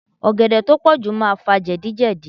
Ọ̀gẹ̀dẹ̀ tó pọ̀jù máa fà jẹ̀díjẹ̀dí.